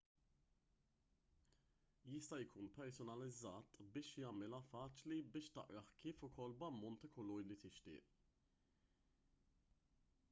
jista' jkun personalizzat biex jagħmilha faċli biex taqrah kif ukoll b'ammont ta' kulur li tixtieq